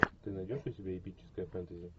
ты найдешь у себя эпическое фэнтези